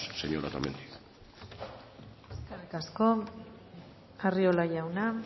señora otamendi eskerrik asko arriola jauna